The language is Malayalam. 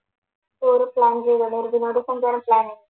tourplan ചെയ്യുന്നുണ്ട്. ഒരു വിനോദ സഞ്ചാര പ്ലാന്